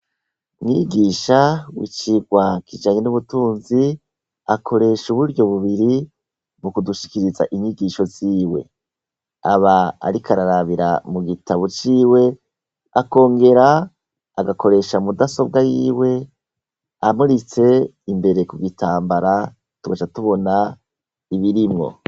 Mwigisha wicigwa kijanye nubutinzi akoresha uburyo bubiri mukudushikiriza inyigisho ziwe, aba ariko ararabira mugitabu ciwe akongera agakoresha mudasobwa yiwe amuritse imbere kubitambara tugaca tubona ibirimwo.